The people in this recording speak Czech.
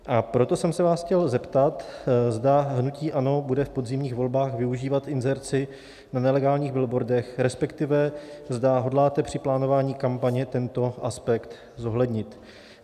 A proto jsem se vás chtěl zeptat, zda hnutí ANO bude v podzimních volbách využívat inzerci na nelegálních billboardech, respektive zda hodláte při plánování kampaně tento aspekt zohlednit.